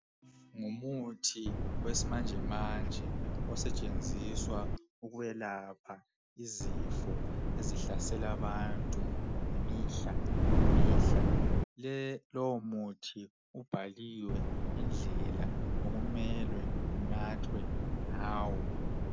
Kulemithi yesimanje esetshenziswa ukwelapha izifo ezihlasela abantu mihla yonke, leyo mithi ibhaliwe indlela okumele isetshenziswa ngayo.